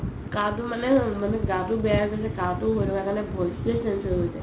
গাতো মানে মানে গাতো বেয়া বুলি কাঁহতো হৈ থকা কাৰণে voice টোয়ে change হৈ গৈছে